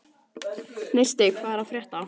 Neisti, hvað er að frétta?